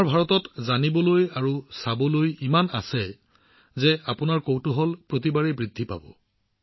আমাৰ ভাৰতত জানিবলৈ আৰু চাবলৈ ইমানেই বস্তু আছে যে আপোনাৰ কৌতূহল প্ৰতিবাৰেই বৃদ্ধি পাব